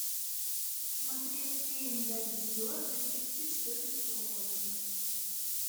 смотреть фильм годзилла две тысячи четырнадцатого года